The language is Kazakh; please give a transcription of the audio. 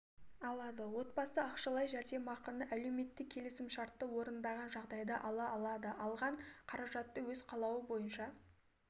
алады отбасы ақшалай жәрдемақыны әлеуметтік келісімшартты орындаған жағдайда ала алады алған қаражатты өз қалауы бойынша